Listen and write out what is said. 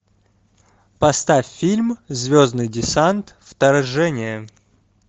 поставь фильм звездный десант вторжение